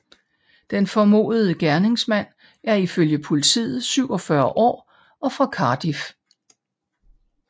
Den formodede gerningsmand er i følge Politiet 47 år og fra Cardiff